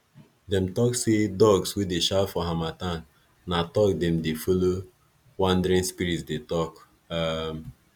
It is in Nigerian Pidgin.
them tok say dogs wey dey shout for harmattan na talk them dey follow wandering spirits dey tok um